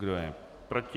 Kdo je proti?